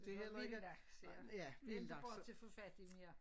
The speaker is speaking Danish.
Det er vilde laks ja det er ikke bare til at få fat i mere